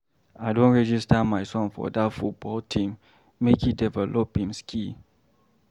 I don register my son for dat football team make e develop im skill.